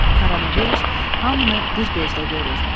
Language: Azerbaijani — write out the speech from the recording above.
Koronavirus hamını bir gözdə görür.